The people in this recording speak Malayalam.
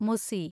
മുസി